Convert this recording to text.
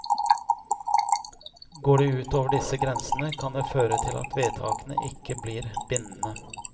Går de ut over disse grensene, kan det føre til at vedtakene ikke blir bindende.